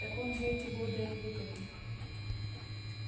так он за эти годы отвык от них